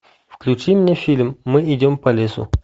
включи мне фильм мы идем по лесу